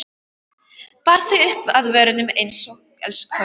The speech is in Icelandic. Bar þau upp að vörunum einsog elskhuga.